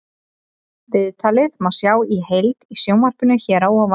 Viðtalið má sjá í heild í sjónvarpinu hér að ofan.